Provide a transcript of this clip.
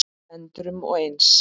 endrum og eins.